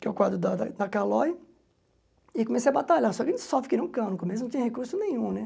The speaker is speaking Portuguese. Que é o quadro da da Calói, e comecei a batalhar, só que só fiquei num cano, no começo não tinha recurso nenhum, né?